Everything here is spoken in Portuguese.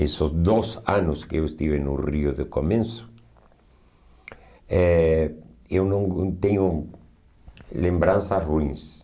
Esses dois anos que eu estive no rio de começo, eh eu não gos eh tenho lembranças ruins.